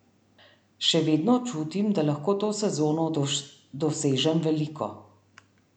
Še vedno čutim, da lahko to sezono dosežem veliko.